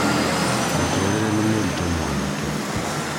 mũtũrire nĩ mũritũ mwanake